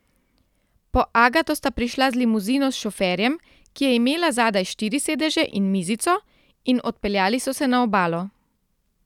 Po Agato sta prišla z limuzino s šoferjem, ki je imela zadaj štiri sedeže in mizico, in odpeljali so se na obalo.